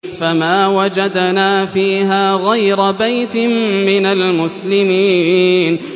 فَمَا وَجَدْنَا فِيهَا غَيْرَ بَيْتٍ مِّنَ الْمُسْلِمِينَ